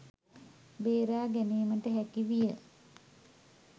බේරා ගැනීමට හැකි විය